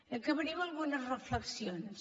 acabaré amb algunes reflexions